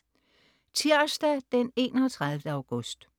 Tirsdag den 31. august